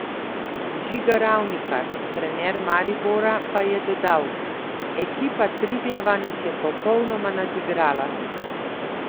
Žiga Ravnikar, trener Maribora, pa je dodal: "Ekipa Triglava nas je popolnoma nadigrala.